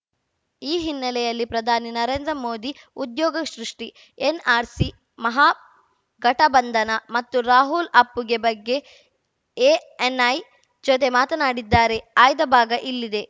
ಈ ಹಿನ್ನೆಲೆಯಲ್ಲಿ ಪ್ರಧಾನಿ ನರೇಂದ್ರ ಮೋದಿ ಉದ್ಯೋಗ ಸೃಷ್ಟಿ ಎನ್‌ಆರ್‌ಸಿ ಮಹಾಗಠಬಂಧನ ಮತ್ತು ರಾಹುಲ್‌ ಅಪ್ಪುಗೆ ಬಗ್ಗೆ ಎಎನ್‌ಐ ಜೊತೆ ಮಾತನಾಡಿದ್ದಾರೆ ಆಯ್ದ ಭಾಗ ಇಲ್ಲಿದೆ